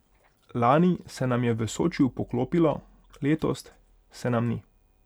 Lani se nam je v Sočiju poklopilo, letos se nam ni.